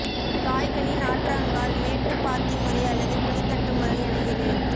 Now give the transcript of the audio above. காய்கனி நாற்றங்கால் மேட்டு பாத்தி முறை அல்லது குழித்தட்டு முறை என இரு